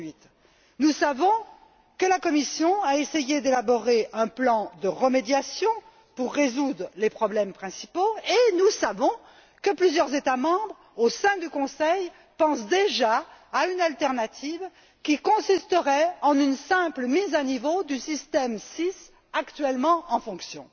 2008. Nous savons que la Commission a essayé d'élaborer un plan de remédiation pour résoudre les problèmes principaux, et nous savons que plusieurs États membres, au sein du Conseil, pensent déjà à une alternative qui consisterait en une simple mise à niveau du système SIS actuellement en fonction.